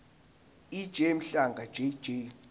ej mhlanga jj